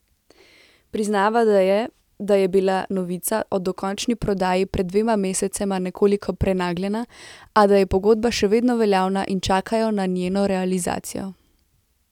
Priznava, da je, da je bila novica o dokončni prodaji pred dvema mesecema nekoliko prenagljena, a da je pogodba še vedno veljavna in čakajo na njeno realizacijo.